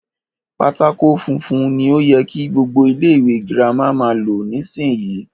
Pátákó funfun ni o yẹ kí gbogbo ilé ìwé girama máa lò nísìyí.